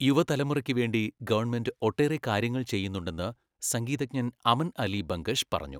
യുവതലമുറയ്ക്കുവേണ്ടി government ഒട്ടേറെ കാര്യങ്ങൾ ചെയ്യുന്നുണ്ടെന്ന് സംഗീതജ്ഞൻ അമൻ അലി ബംഗഷ് പറഞ്ഞു.